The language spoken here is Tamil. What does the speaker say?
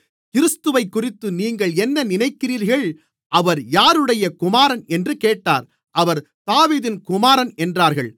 கிறிஸ்துவைக்குறித்து நீங்கள் என்ன நினைக்கிறீர்கள் அவர் யாருடைய குமாரன் என்று கேட்டார் அவர் தாவீதின் குமாரன் என்றார்கள்